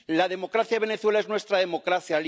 La democracia de Venezuela es nuestra democracia